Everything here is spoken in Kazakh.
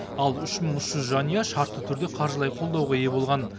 ал үш мың үш жүз жанұя шартты түрде қаржылай қолдауға ие болған